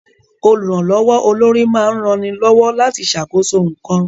Olùrànlọ́wọ́ olórí máa ń rani lọ́wọ́ láti ṣàkóso nǹkan